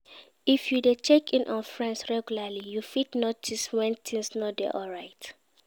If you de check in on friends regularly you fit notice when things no de alright